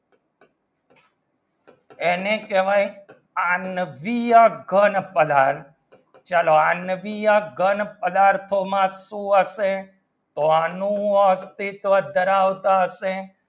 એને કહેવાય આનવીય ઘન પદાર્થ ચલો આણ્વીય ઘણ પદાર્થ માં શું હશે તો એનું અસ્તિત્વ ડરાવતા હશે